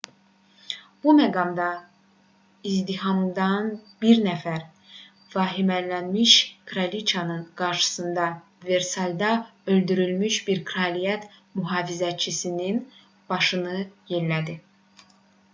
bu məqamda izdihamdan bir nəfər vahimələnmiş kraliçanın qarşısında versalda öldürülmüş bir kraliyyət mühafizəçisinin başını yellədi